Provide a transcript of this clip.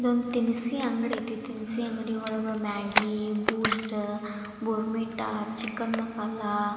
ಒಂದು ದಿನಸಿ ಅಂಗಡಿ ಒಳಗೆ ದಿನಸಿ ಅಂಗಡಿ ಒಳಗೆ Maggi Boost Bournvita chicken masala --